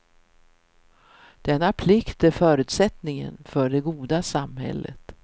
Denna plikt är förutsättningen för det goda samhället.